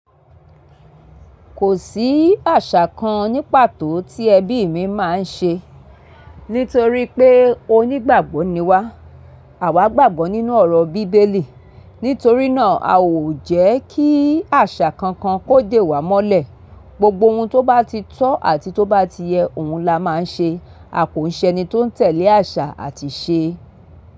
Kò sí àṣà kan ní pàtó tí ẹbí mi máa ń ṣe. Nítorí pé onígbàgbọ́ ni wá, àwa gbàgbọ́ nínú ọ̀rọ̀ bíbélì. Nítorí náà, a o jẹ́ kí àṣà kankan kó dè wá mọ́lẹ̀. Gbogbo ohun tó bá ti tọ́ àti tó bá ti yẹ, òun la máa ń ṣe. A kò ń ṣe ẹni tó ń tẹ̀lé àṣà àti ìṣe.